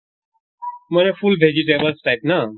মানে full vegetables type ন?